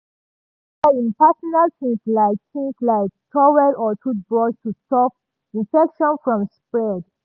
e no dey share im personal things like things like towel or toothbrush to stop infection from spread.